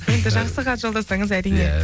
енді жақсы хат жолдасаңыз әрине иә